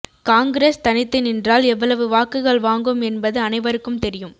காங்கிரஸ் தனித்து நின்றால் எவ்வளவு வாக்குகள் வாங்கும் என்பது அனைவருக்கும் தெரியும்